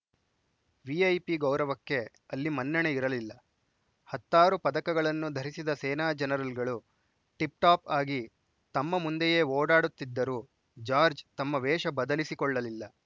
VIP ಗೌರವಕ್ಕೆ ಅಲ್ಲಿ ಮನ್ನಣೆ ಇರಲಿಲ್ಲ ಹತ್ತಾರು ಪದಕಗಳನ್ನು ಧರಿಸಿದ ಸೇನಾ ಜನರಲ್‌ಗಳು ಟಿಪ್‌ಟಾಪ್‌ ಆಗಿ ತಮ್ಮ ಮುಂದೆಯೇ ಓಡಾಡುತ್ತಿದ್ದರೂ ಜಾರ್ಜ್ ತಮ್ಮ ವೇಷ ಬದಲಿಸಿಕೊಳ್ಳಲಿಲ್ಲ